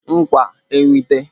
ńkwà nwite